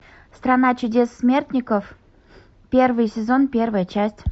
страна чудес смертников первый сезон первая часть